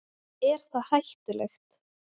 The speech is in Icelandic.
Er það hættulegt?